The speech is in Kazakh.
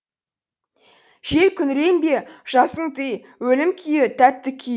жел күңіренбе жасың тый өлім күйі тәтті күй